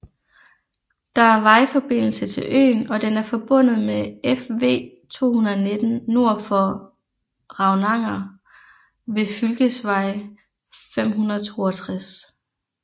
Der er vejforbindelse til øen og den er forbundet med Fv219 nord for Ravnanger ved fylkesvei 562